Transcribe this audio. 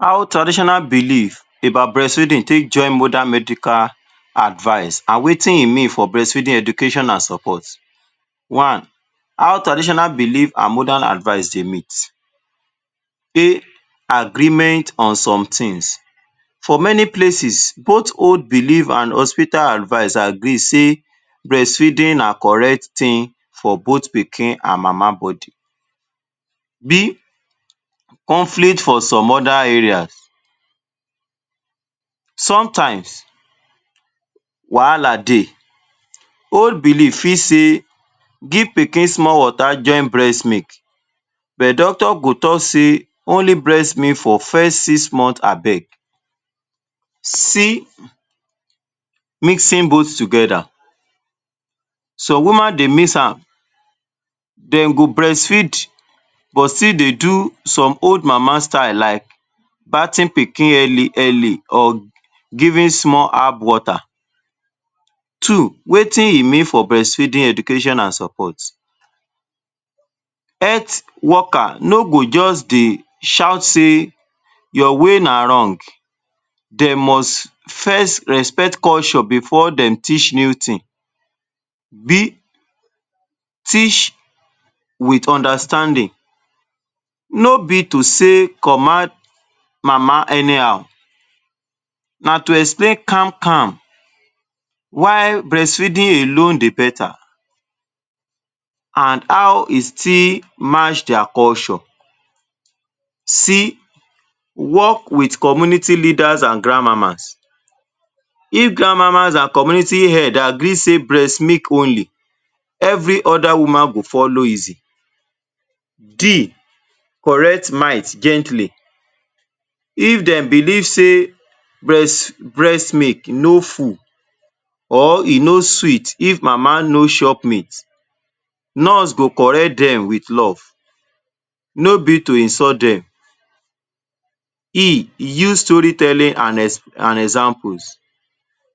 How traditional belief about breastfeeding take join modern medical advice an wetin e mean for breastfeeding education an support. One, how traditional belief an modern advice dey meet. Agreement on some tins: For many places, both old belief an hospital advice agree sey breastfeeding na correct tin for both pikin an mama body. Conflict for some other areas: Sometimes, wahala dey. Old belief fit say give pikin small water join breast milk, but doctor go talk sey only breast milk for first six month abeg. Mixing both together: Some woman dey mix am. Dem go breastfeed, but still dey do some old mama style like pikin early early or giving small herb water. Two, wetin e mean for education an support. Heath worker no go juz dey shout sey “Your way na wrong.” De must first respect culture before dem teach new tin. b. Teach with understanding: No be to sey command mama anyhow, na to explain calm-calm why breastfeeding alone dey beta, an how e still match dia culture. c. Work with community leaders an grandmamas: If grandmamas an community head agree sey breast milk only, every other woman go follow easy. d. Correct might gently: If dem believe sey breast breast milk no full or e no sweet if mama no chop meat, nurse go correct dem with love, no be to insult dem. e. Use story telling an an examples: